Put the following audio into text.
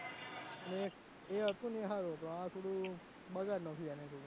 અને એ હતું એ હારું હતું આ થોડું બગાડી નાખ્યું આને થોડું.